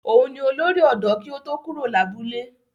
Òun ni olórí ọ̀dọ́ kí ó tó kúrò lábúlé.